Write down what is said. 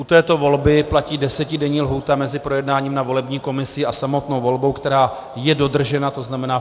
U této volby platí desetidenní lhůta mezi projednáním na volební komisi a samotnou volbou, která je dodržena, to znamená.